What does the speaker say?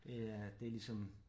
Det er det ligesom